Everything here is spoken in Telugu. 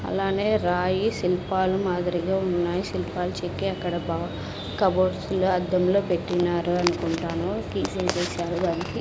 అలానే రాయి శిల్పాలు మాదిరిగా ఉన్నాయి శిల్పాలు చెక్కి అక్కడ బా కబోర్డ్స్ లో అద్దం లో పెట్టినారు అనుకుంటాను కీచైన్ చేసారు దానికి.